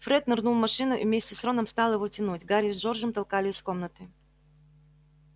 фред нырнул в машину и вместе с роном стал его тянуть гарри с джорджем толкали из комнаты